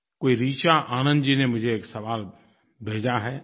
कोई ऋचा आनंद जी ने मुझे एक सवाल भेजा है